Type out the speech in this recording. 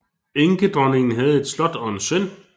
Enkedronningen havde et slot og en søn